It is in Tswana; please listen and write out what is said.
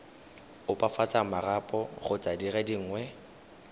opafatsa marapo kgotsa dire dingwe